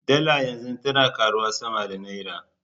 Dala yanzu tana karuwa sama da Naira.